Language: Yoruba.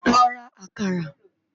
Lò rá àkàrá